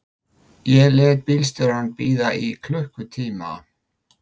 Ég lét bílstjórann bíða í klukkutíma.